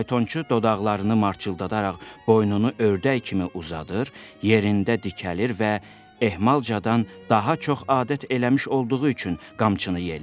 Faytonçu dodaqlarını marçıldadaraq boynunu ördək kimi uzadır, yerində dikəlir və ehmalcadan daha çox adət eləmiş olduğu üçün qamçını yelləyir.